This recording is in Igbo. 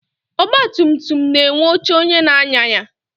Ọgbatumtum na-enwe oche onye na-anya ya.